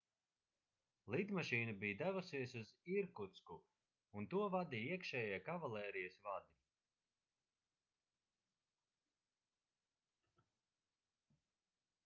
lidmašīna bija devusies uz irkutsku un to vadīja iekšējie kavalērijas vadi